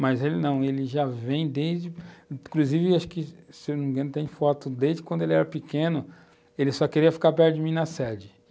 Mas ele não, ele já vem desde... Inclusive, acho que, se não me engano, tem foto, desde quando ele era pequeno, ele só queria ficar perto de mim na sede.